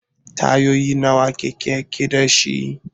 Tayoyi nawa keken yake dashi?